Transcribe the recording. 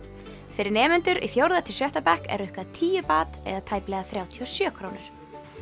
fyrir nemendur í fjórða til sjötta bekk er rukkað tíu eða tæplega þrjátíu og sjö krónur